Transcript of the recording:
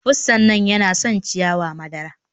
Pussan nan yana son ciyawa madara.